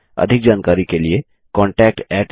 अधिक जानकारी के लिए contactspoken tutorialorg पर लिखें